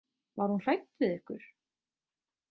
Var hún hrædd við ykkur?